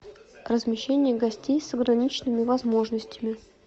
размещение гостей с ограниченными возможностями